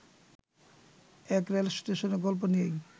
এক রেলস্টেশনের গল্প নিয়েই